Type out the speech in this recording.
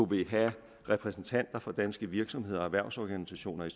vil have repræsentanter for danske virksomheder og erhvervsorganisationer i